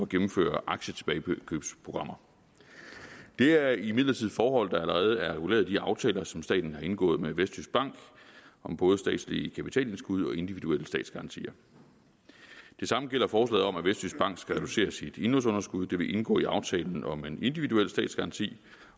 gennemføre aktietilbagekøbsprogrammer det er imidlertid forhold der allerede er reguleret i de aftaler som staten har indgået med vestjyskbank om både statslige kapitalindskud og individuelle statsgarantier det samme gælder forslaget om at vestjyskbank skal reducere sit indlånsunderskud det vil indgå i aftalen om en individuel statsgaranti